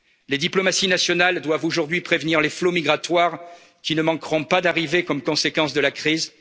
bruxelloise. Les diplomaties nationales doivent aujourd'hui prévenir les flots migratoires qui ne manqueront pas d'arriver comme conséquence